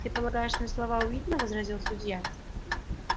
ты полагаешься на слова уидона возразил судья